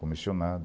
Comissionado.